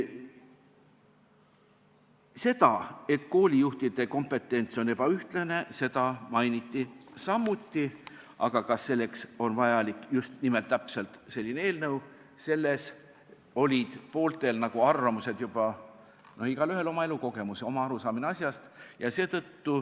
Seda, et koolijuhtide kompetents on ebaühtlane, mainiti samuti, aga kas seetõttu on vaja just nimelt täpselt sellist eelnõu, selles olid pooltel arvamused juba olemas, igaühel on ju oma elukogemus ja oma arusaamine asjast.